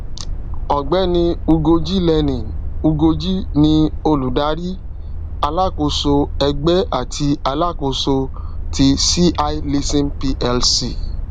ọgbẹni ugoji lenin ugoji ni olùdarí alákóso ẹgbẹ àti alákóso ti c i leasing plc